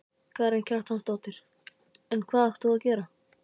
Karen Kjartansdóttir: En hvað átt þú að gera?